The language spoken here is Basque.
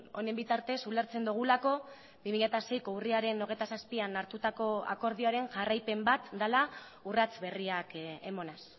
honen bitartez ulertzen dugulako bi mila seiko urriaren hogeita zazpian hartutako akordioaren jarraipen bat dela urrats berriak emanez